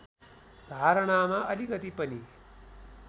धारणामा अलिकति पनि